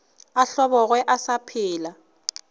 a hlobogwe a sa phela